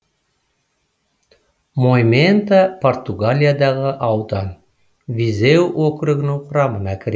моимента португалиядағы аудан визеу округінің құрамына кіреді